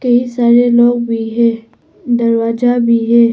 ये सारे लोग भी हैं दरवाजा भी है।